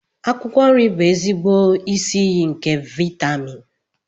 akwụkwọ nri bụ ezigbo isi iyi nke vitamin